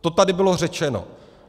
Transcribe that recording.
To tady bylo řečeno.